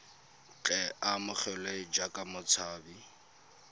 tle a amogelwe jaaka motshabi